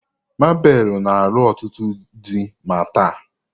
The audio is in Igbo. Mabelu na alu otutu di ma taa